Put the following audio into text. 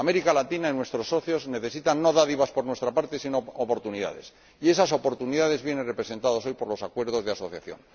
América Latina y nuestros socios necesitan no dádivas por nuestra parte, sino oportunidades, y esas oportunidades vienen representadas hoy por los acuerdos de asociación.